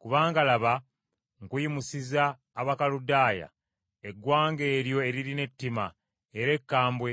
Kubanga laba, nkuyimusiza Abakaludaaya, eggwanga eryo eririna ettima era ekkambwe,